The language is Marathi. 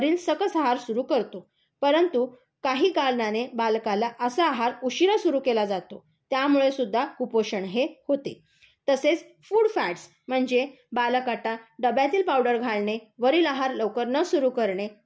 वरील सकस आहार सुरू करतो. परंतु काही कारणाने बालकाला असा आहार उशिरा सुरू केला जातो. त्यामुळेसुद्धा कुपोषण हे होते. तसेच फूड फ्याट्स म्हणजे बालकाला डब्यातील पावडर घालणे, वरील आहार लवकर न सुरू करणे,